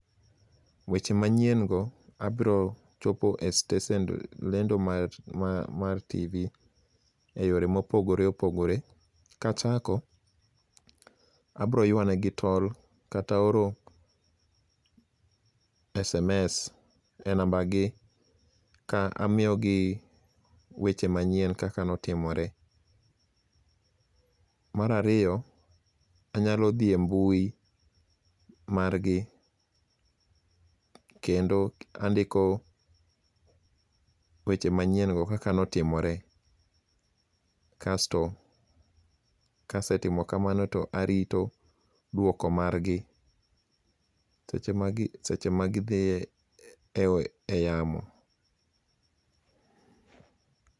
Weche manyiengo abiro chopo e stesen lendo mar TV e yore mopogore opogore, kachako abroywanegi tol kata oro sms e nambagi ka amiyogi weche manyien kaka notimore, marariyo anyalo thie mbui margi kendo andiko weche manyiengo kaka notimore kasto kasetimo kamano to arito dwoko margi seche magithie e yamo.